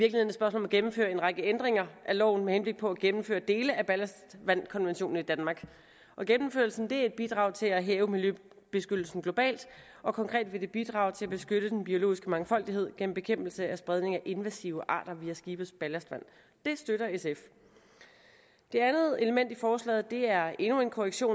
om at gennemføre en række ændringer af loven med henblik på at gennemføre dele af ballastvandkonventionen i danmark gennemførelsen er et bidrag til at hæve miljøbeskyttelsen globalt og konkret vil det bidrage til at beskytte den biologiske mangfoldighed gennem bekæmpelse af spredning af invasive arter via skibes ballastvand det støtter sf det andet element i forslaget er endnu en korrektion